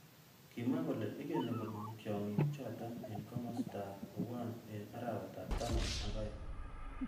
Kimwa kole ikeni komong tyongik chotok eng kimosta ab Owuan eng arawet ab taman ak aeng.